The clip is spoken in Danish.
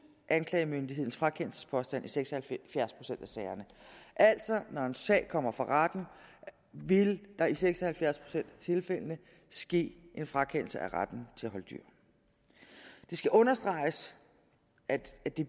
anklagemyndighedens frakendelsespåstand i seks og halvfjerds procent af sagerne altså når en sag kommer for retten vil der i seks og halvfjerds procent af tilfældene ske en frakendelse af retten til at holde dyr det skal understreges at de